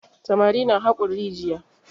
Samari na haƙon rijiya.